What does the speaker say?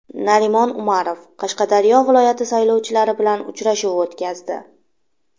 Narimon Umarov Qashqadaryo viloyati saylovchilari bilan uchrashuv o‘tkazdi.